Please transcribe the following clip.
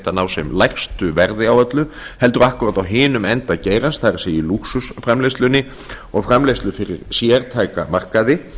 sem lægstu verði á öllu heldur akkúrat á hinum enda geirans það er í lúxusframleiðslunni og framleiðslu fyrir sértæka markaði